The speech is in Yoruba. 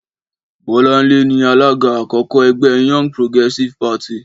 Bọ́láńlé ni alága àkọ́kọ́ ẹgbẹ́ Young Progressive Party.